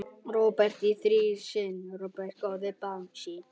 Róbert á þrjá syni.